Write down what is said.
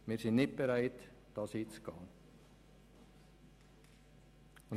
Wir sind nicht bereit, dies einzugehen.